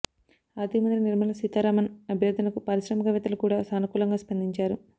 ఆర్థిక మంత్రి నిర్మల సీతారామన్ అభ్యర్థనకు పారిశ్రామికవేత్తలు కూడా సానుకూలంగా స్పందించారు